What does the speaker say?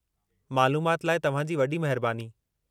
मालूमाति लाइ तव्हां जी वॾी महिरबानी।